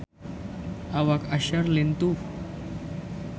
Awak Usher lintuh